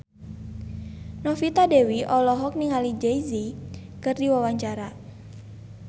Novita Dewi olohok ningali Jay Z keur diwawancara